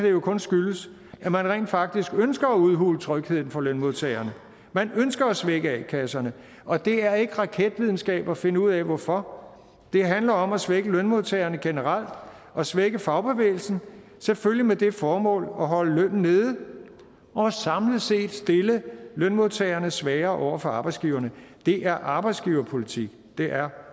jo kun skyldes at man rent faktisk ønsker at udhule trygheden for lønmodtagerne man ønsker at svække a kasserne og det er ikke raketvidenskab at finde ud af hvorfor det handler om at svække lønmodtagerne generelt og svække fagbevægelsen selvfølgelig med det formål at holde lønnen nede og samlet set stille lønmodtagerne svagere over for arbejdsgiverne det er arbejdsgiverpolitik det er